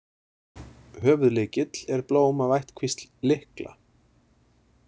Höfuðlykill er blóm af ættkvísl lykla.